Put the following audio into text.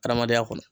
Adamadenya kɔnɔ